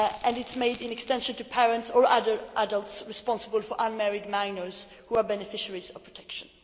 The definition extends to parents or other adults responsible for unmarried minors who are beneficiaries of protection.